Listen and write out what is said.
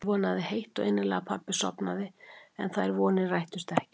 Ég vonaði heitt og innilega að pabbi sofnaði en þær vonir rættust ekki.